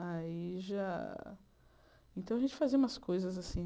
Aí já... Então, a gente fazia umas coisas assim.